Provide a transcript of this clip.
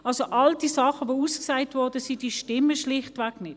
Also: All die Dinge, die ausgesagt wurden, stimmen schlichtweg nicht.